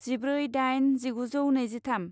जिब्रै दाइन जिगुजौ नैजिथाम